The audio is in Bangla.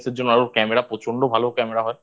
জন্য আরো ওর Camera প্রচন্ড ভালো Camera হয়